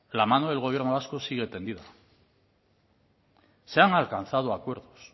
la mano del gobierno vasco sigue tendida se han alcanzado acuerdos